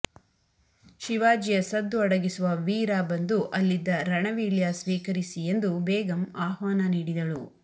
ಶಿವಾಜಿಯ ಸದ್ದು ಅಡಗಿಸುವ ವೀರ ಬಂದು ಅಲ್ಲಿದ್ದ ರಣವೀಳ್ಯ ಸ್ವೀಕರಿಸಿ ಎಂದು ಬೇಗಂ ಆಹ್ವಾನ ನೀಡಿದಳು